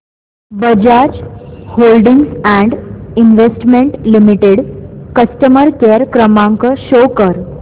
Bajaj holdings and investment limited customer care क्रमांक show कर